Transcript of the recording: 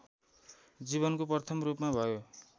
जीवनको प्रथम रूपमा भयो